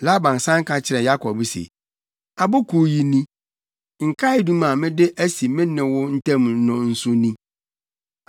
Laban san ka kyerɛɛ Yakob se, “Abo Kuw yi ni. Nkaedum a mede asi me ne wo ntam no nso ni.